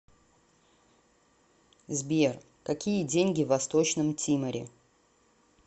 сбер какие деньги в восточном тиморе